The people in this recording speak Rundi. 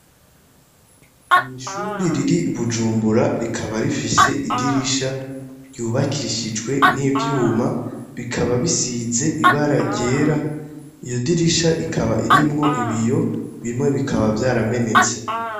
Ni ishuri riri ibujumbura, rikaba rifishe idirisha ryubakishijwe n'ivyuma, bikaba bisize ibara ryera iyo dirisha ikaba irimwo ibiyo bimwe bikaba vyaramenetse.